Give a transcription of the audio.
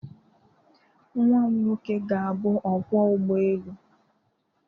Nwam nwoke ga-abụ ọkwọ ụgbọelu.